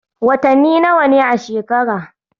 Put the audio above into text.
Watanni nawa ne a shekara?